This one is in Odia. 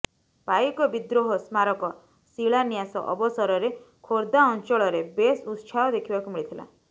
ପାଇକ ବିଦ୍ରୋହ ସ୍ମାରକ ଶିଳାନ୍ୟାସ ଅବସରରେ ଖୋର୍ଦ୍ଧା ଅଂଚଳରେ ବେଶ ଉତ୍ସାହ ଦେଖିବାକୁ ମିଳିଥିଲା